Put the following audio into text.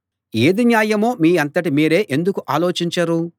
ఏది న్యాయమో మీ అంతట మీరే ఎందుకు ఆలోచించరు